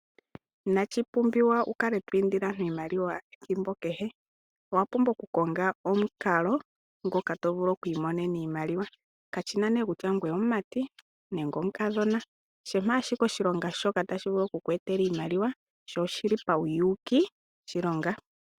Inashipunbiwa wukale to indile aantu iimaliwa ethimbo kehe owapumbwa oku konga omukalo ngoka tovulu oku imonena iimaliwa kashina kutya ngwe omumati nenge omukadhona shampa ashike oshilonga shoka tashi vulu okuku etela iimaliwa sho oshili pawuyuki oshilonga.